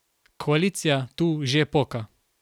Koalicija tu že poka.